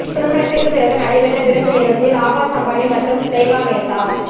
திருமணத்திற்கு பிறகு நடைபெற்ற விருந்து நிகழ்ச்சியில் ஆகாஷ் அம்பானி மற்றும் ஸ்லோகா மேத்தா